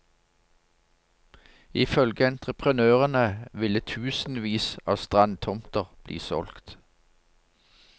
I følge entreprenørene ville tusenvis av strandtomter bli solgt.